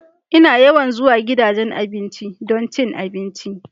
Ina yawan zuwa gidajen abinci don cin abinci.